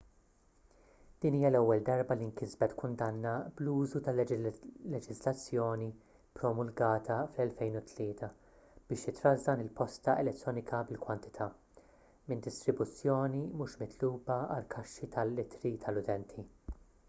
din hija l-ewwel darba li nkisbet kundanna bl-użu tal-leġiżlazzjoni ppromulgata fl-2003 biex titrażżan il-posta elettronika bil-kwantità minn distribuzzjoni mhux mitluba għall-kaxxi tal-ittri tal-utenti